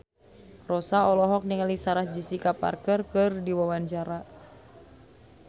Rossa olohok ningali Sarah Jessica Parker keur diwawancara